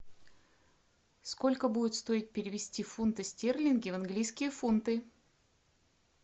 сколько будет стоить перевести фунты стерлинги в английские фунты